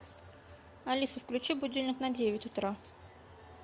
алиса включи будильник на девять утра